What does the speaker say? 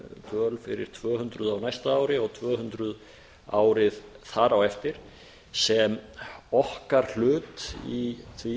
dvöl fyrir tvö hundruð á næsta ári og tvö hundruð árið þar á eftir sem okkar hlut í því